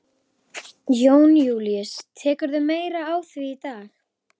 Jón Júlíus: Tekurðu meira á því í dag?